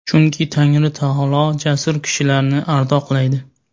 chunki Tangri taolo jasur kishilarni ardoqlaydi.